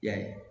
I y'a ye